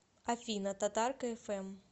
афина татарка эф эм